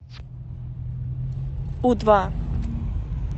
у два